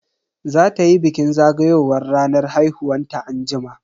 Za tayi bikin zagayowar ranar haihuwanta anjima.